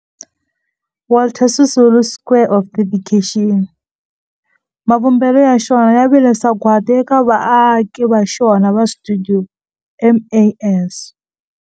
Walter Sisulu Square of Dedication, mavumbelo ya xona ya vile sagwadi eka vaaki va xona va stuidio MAS.